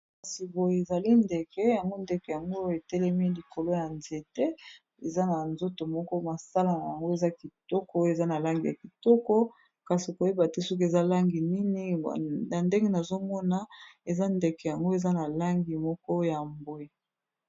Kasi boyo ezali ndeke yango ndeke yango etelemi likolo ya nzete eza na nzoto moko masala na yango eza kitoko eza na langi ya kitoko, kasi koyeba te soki eza langi nini na ndenge nazomona eza ndeke yango eza na langi moko ya mbwe.